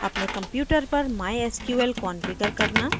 अपने computer पर mysql configure करना